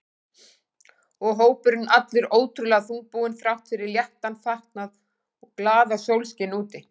Og hópurinn allur ótrúlega þungbúinn þrátt fyrir léttan fatnað og glaðasólskin úti.